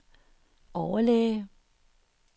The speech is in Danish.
overlæge